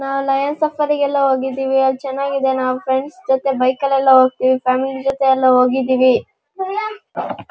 ನಾವ್ lions safari ಗೆಲ್ಲ ಹೋಗಿದ್ದಿವಿ ಅಲ್ಲಿ ಚೆನಾಗಿದೆ ನಾವು ಫ್ರೆಂಡ್ಸ್ ಜೊತೆ ಬೈಕ್ ಅಲ್ಲಿ ಎಲ್ಲ ಹೋಗಿದ್ದಿವಿ ಫ್ಯಾಮಿಲಿ ಜೊತೆ ಹೋಗಿದೇವಿ --